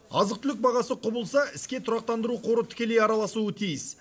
азық түлік бағасы құбылса іске тұрақтандыру қоры тікелей араласуы тиіс